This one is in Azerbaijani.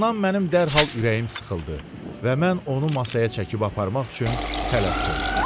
Bundan mənim dərhal ürəyim sıxıldı və mən onu masaya çəkib aparmaq üçün tələsdim.